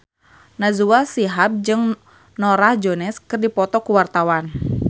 Najwa Shihab jeung Norah Jones keur dipoto ku wartawan